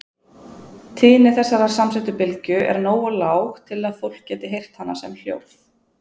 Tíðni þessarar samsettu bylgju er nógu lág til að fólk geti heyrt hana sem hljóð.